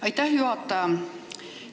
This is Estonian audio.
Aitäh, juhataja!